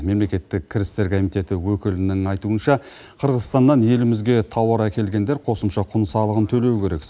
мемлекеттік кірістер комитеті өкілінің айтуынша қырғызстаннан елімізге тауар әкелгендер қосымша құн салығын төлеуі керек